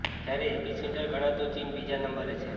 જ્યારે epicentre ગણાતુ ચીન બીજા નંબરે છે